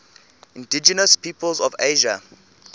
indigenous peoples of asia